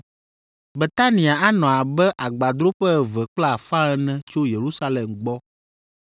Betania anɔ abe agbadroƒe eve kple afã ene tso Yerusalem gbɔ,